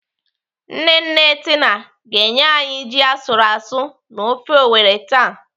Nne nne Tina ga-enye anyị ji asụrụ asụ na ofe Owerri taa..